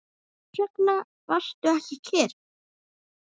Hvers vegna varstu ekki kyrr?